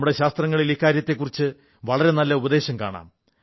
നമ്മുടെ ശാസ്ത്രങ്ങളിൽ ഇക്കാര്യത്തിൽ വളരെ നല്ല ഉപദേശം കാണാം